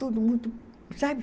Tudo muito, sabe?